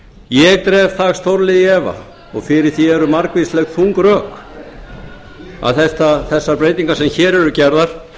ég dreg það stórlega í efa og fyrir því eru margvísleg þung rök að þessar breytingar sem hér eru gerðar